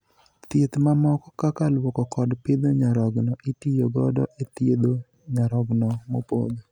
Thieth ma moko kaka luoko kod pidho nyarogno itiyo godo e thiedho nyarogno mopodho